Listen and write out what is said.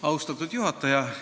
Austatud juhataja!